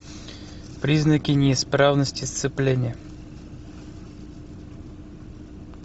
признаки неисправности сцепления